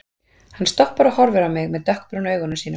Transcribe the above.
Hann stoppar og horfir á mig með dökkbrúnu augunum sínum.